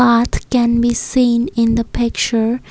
path can be seen in the picture.